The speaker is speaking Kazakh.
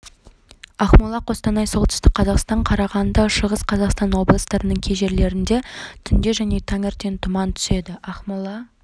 ақмола қостанай солтүстік қазақстан қарағанды шығыс қазақстан облыстарының кей жерлерінде түнде және таңертең тұман түседі ақмола